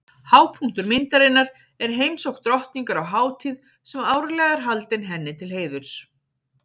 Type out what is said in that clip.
Hápunktur myndarinnar er heimsókn drottningar á hátíð sem árlega er haldin henni til heiðurs.